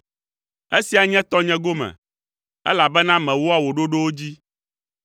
Esia nye tɔnye gome, elabena mewɔa wò ɖoɖowo dzi.